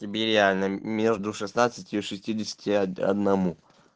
тебе реально между шестнадцатью и шестидесяти одному